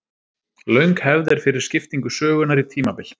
Löng hefð er fyrir skiptingu sögunnar í tímabil.